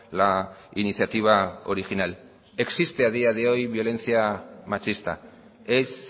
la iniciativa original existe a día de hoy violencia machista es